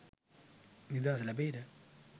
නිදහස ලැබෙයිද?